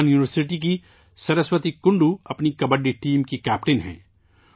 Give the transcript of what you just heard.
Burdwan university کی سرسوتی کنڈو اپنی kabaddi team کی کپتان ہیں